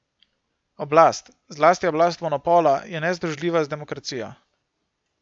Oblast, zlasti oblast monopola, je nezdružljiva z demokracijo.